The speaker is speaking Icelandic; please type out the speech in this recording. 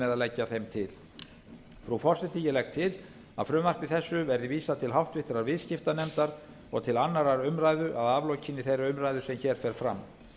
með að leggja þeim til frú forseti ég legg til að frumvarpi þessu verði vísað til háttvirtrar viðskiptanefndar og til annarrar umræðu að aflokinni þeirri umræðu sem hér fer fram